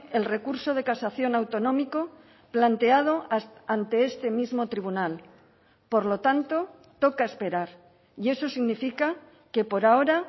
el recurso de casación autonómico planteado ante este mismo tribunal por lo tanto toca esperar y eso significa que por ahora